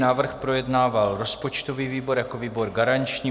Návrh projednával rozpočtový výbor jako výbor garanční.